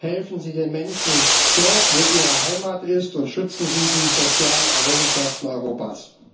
Helfen Sie den Menschen dort, wo ihre Heimat ist, und schützen Sie die sozialen Errungenschaften Europas!